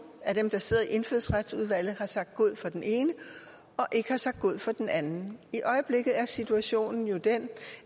af dem der sidder i indfødsretsudvalget har sagt god for den ene og ikke har sagt god for den anden i øjeblikket er situationen jo den